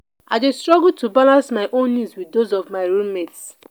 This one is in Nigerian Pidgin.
i dey struggle to balance my own needs with those of my roommate.